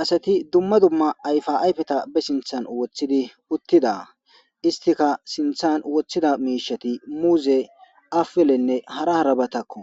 Asati dumma dumma ayifa ayifeta ba sintan wotidi utida isitika sintan wotida mishshati muze apilenee hara hara batakko